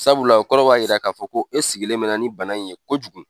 Sabula , o kɔrɔ b'a yira ka fɔ ko e sigilen mɛnna ni bana in ye kojugu.